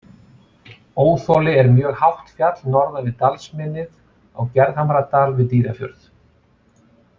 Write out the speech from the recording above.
Óþoli er mjög hátt fjall norðan til við dalsmynnið á Gerðhamradal við Dýrafjörð.